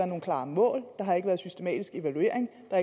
nogen klare mål der har ikke været systematisk evaluering og